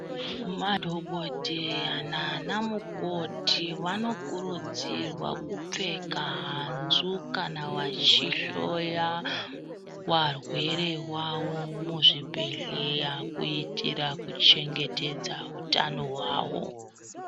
Madhokodheya nana mukoti vanokurudzirwa kupfeka hanzvu kana vachihloya varwere vawo muzvibhedhleYa kuitira kuchengetedza utano hwawo.